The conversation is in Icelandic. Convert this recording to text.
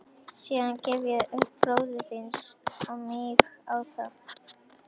Síðan gref ég upp lík bróður þíns og míg á það.